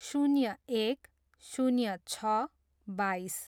शून्य एक, शून्य छ, बाइस